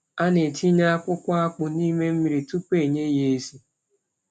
A na-etinye akpụkpọ akpụ n’ime mmiri tupu e nye ya ezi.